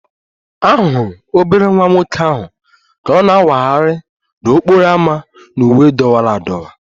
A hụrụ obere nwa nwoke ahụ ka ọ na-awagharị n'okporo ámá na uwe dọwara adọwa